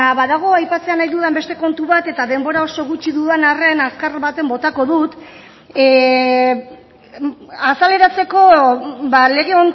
badago aipatzea nahi dudan beste kontu bat eta denbora oso gutxi dudan arren azkar baten botako dut azaleratzeko lege